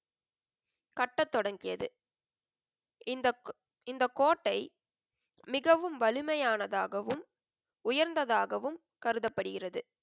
கட்டத் தொடங்கியது. இந்தக், இந்தக் கோட்டை, மிகவும் வலிமையானதாகவும், உயர்ந்ததாகவும் கருதப்படுகிறது.